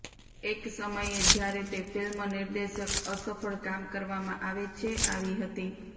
એક સમયે જ્યારે તે ફિલ્મ નિર્દેશક અસફળ કામ કરવામાં આવે છે આવી હતી